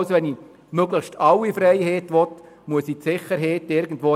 Wer möglichst alle Freiheiten will, muss bei der Sicherheit Abstriche machen.